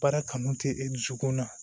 Baara kanu tɛ e dusukun na